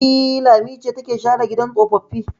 E, Lami ce take share gidan tsofaffi.